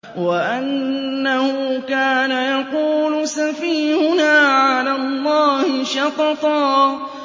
وَأَنَّهُ كَانَ يَقُولُ سَفِيهُنَا عَلَى اللَّهِ شَطَطًا